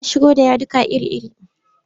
Za a shigo da yaduka iri-iri.